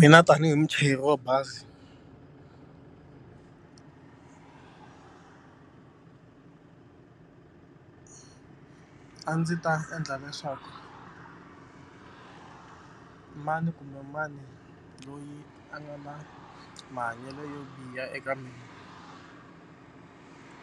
Mina tanihi muchayeri wa bazi a ndzi ta endla leswaku mani kumbe mani loyi a nga na mahanyelo yo biha eka mina